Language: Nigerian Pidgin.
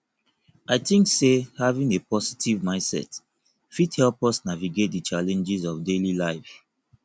i think say having a positive mindset fit help us navigate di challenges of daily life